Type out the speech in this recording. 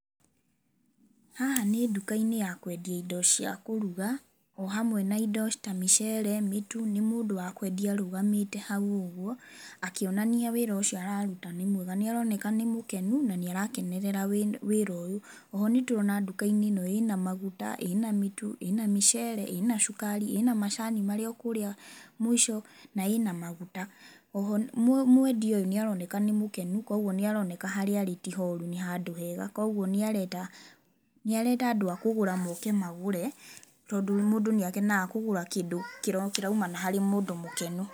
Haha nĩ nduka-inĩ ya kwendia indo cia kũruga o hamwe na indo ta mĩceere, mĩtu. Nĩ mũndũ wa kwendia arũgamĩte hau ũguo akĩonania wĩra ũcio araruta nĩ mwega. Nĩ aroneka nĩ mũkenu na nĩ arakenerera wĩra ũyũ.O ho nĩ tuona nduka ĩno ĩna maguta, ĩna mĩtu, ĩna mĩceere, ĩna cũkari, ĩna macani marĩ o kũrĩa mũico na ĩna maguta.O ho mwendi ũyũ nĩ aroneka nĩ mũkenu kwoguo nĩ aroneka harĩa arĩ ti horu, nĩ handũ hega. Kwoguo nĩ arenda, nĩ arenda andũ a kũgũra mooke magũre tondũ mũndũ nĩ akenaga kũgũra kĩndũ kĩraũmana harĩ mũndũ mũkenu.